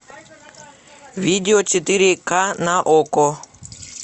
видео четыре ка на окко